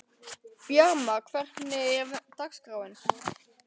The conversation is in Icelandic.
Bjarma, hvernig er dagskráin?